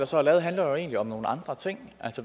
så er lavet handler jo egentlig om nogle andre ting